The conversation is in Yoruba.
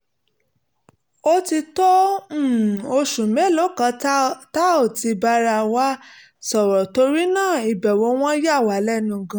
ó ti tó um oṣù mélòó kan tá ò ti bára wa sọ̀rọ̀ torí náà ìbẹ̀wò wọn yà wá lẹ́nu gan-an